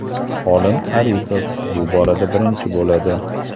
Olim Arifov bu borada birinchi bo‘ladi.